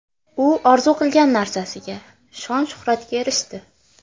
U orzu qilgan narsasiga – shon-shuhratga erishdi.